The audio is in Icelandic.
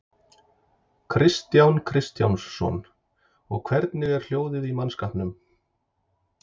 Kristján Kristjánsson: Og hvernig er hljóðið í mannskapnum?